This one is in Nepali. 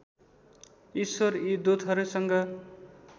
ईश्वर यी दूतहरूसँग